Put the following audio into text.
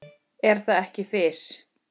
Er það ekki Fis?